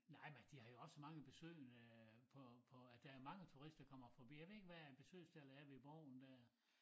Nej men de har jo også mange besøgende på på at der er mange turister der kommer forbi jeg ved ikke hvad besøgstallet er ved borgen dér